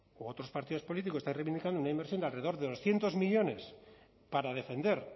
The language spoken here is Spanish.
u otros partidos políticos están reivindicando una inversión de alrededor de doscientos millónes para defender